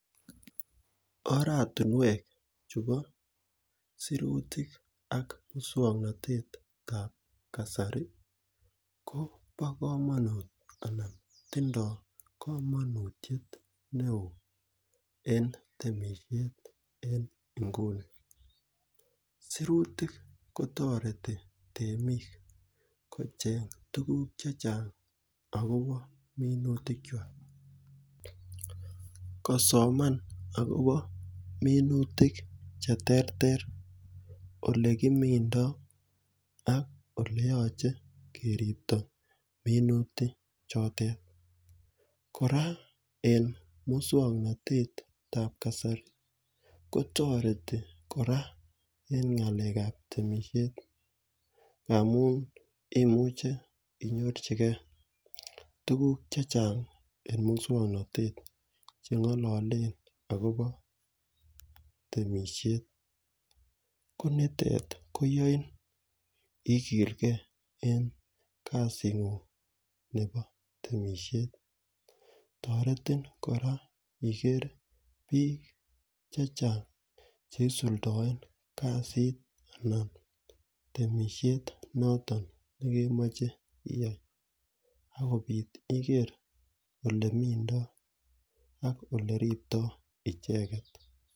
Oratinwek chebo sirutik ak muswong'natetab kasari ko bo kamanut anan tindoi kamanutiyet ne oo en temishet en nguni sirutik kotoreti temik kocheng' tukukuk chechang' akobo minutikchwai kosoman akobo minutik cheterter ole kimindoi ak ole yochei keripto minutik chotet kora en muswong'natetab kasari kotoreti kora en ng'alekab temishet amu imuche inyorchigei tukuk chechang' eng' muswong'natet cheng'ololen akobo temishet ko nitet koyoin ikilgei en kasi ng'ung' nebo temishet toretin kora iker biik chechang' cheisuldoen kasit anan temishet noton imoche iyat akobit iker ole mintoi ak ole riptoi icheget